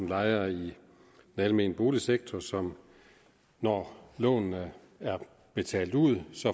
lejere i den almene boligsektor som når lånene er betalt ud